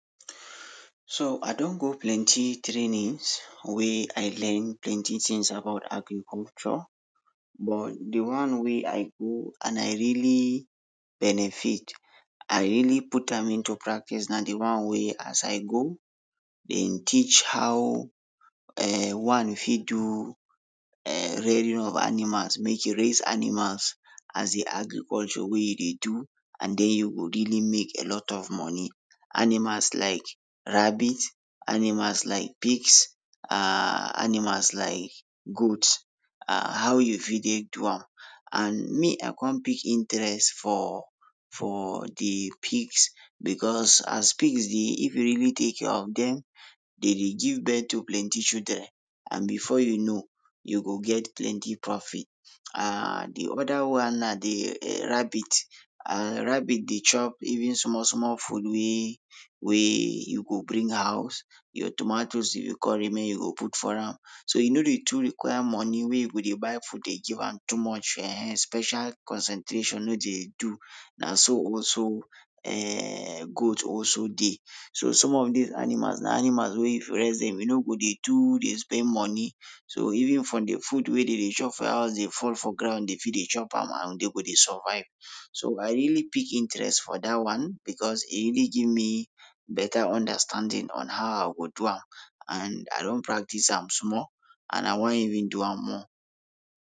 So I don go plenty trainings wey I learn plenty tins about agriculture but de one wey I go and I really benefit, I really put am into practice na de one wey as I go, dem teach how eeh one fit do eeh rearing of animals, make you raise animals, as de agriculture wey you dey do and den you go really make a lot of moni. Animals like rabbit, animals like pigs, animals like goats, ah how you fit dey do am, and me I come pick interest for, for de pigs becos as pigs dey, if you really take care of dem, dem dey give birth to plenty children, and before you know, you go get plenty profit. aah de oda one na de rabbit and rabbit dey chop even small small food wey, wey you go bring house, your tomatoes e go make you go put for am, so e no dey too require money wey you go dey buy food dey give am too much, [ehen] special concentration no dey too Na so also [eeeh] goat also dey, so some of dis animals na animals wey if you raise dem you no go dey too dey spend moni. So even from dey food wey dey dey chop for your house dey fall for ground dem fit dey chop am and den go dey survive. So I really pick interest for dat one becos e really give me beta understanding on how I go do am, and I don practice am small and I wan even do am more.